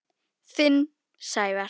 Þinn, Sævar.